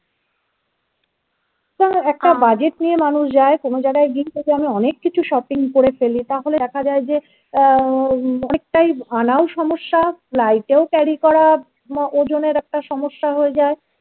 তারা একটা বাজেট নিয়ে মানুষ যায় কোন জায়গায় আমি অনেক কিছু shopping করে ফেলি তাহলে দেখা যাই অনেকটা আনাল সমস্যা carry করা ওজনের একটা সমস্যা হয়ে যায়